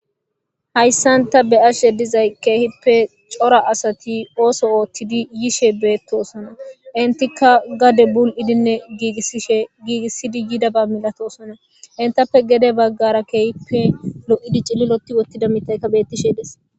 Hayssanta be ashe dizay keehippe cora asati ooso ooththidi yishe beettosona intika gade bul7idinne iishegiigissidi yidaba milatosona intappe gede baggara keehippe lo7idi cilliloti wottida mitaykka bettishe des.